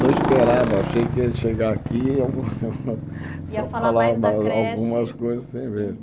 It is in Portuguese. Não esperava, achei que ia chegar aqui e iam iam Ia falar da creche eu só falava algumas coisas sem ver.